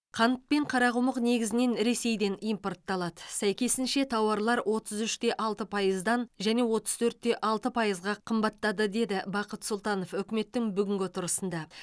қант пен қарақұмық негізінен ресейден импортталады сәйкесінше тауарлар отыз үш те алты пайыздан және отыз төрт те алты пайызға қымбаттады деді бақыт сұлтанов үкіметтің бүгінгі отырысында